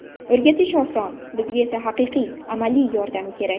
O‘rgatish oson, bizga esa haqiqiy, amaliy yordam kerak.